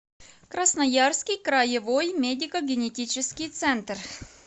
красноярский краевой медико генетический центр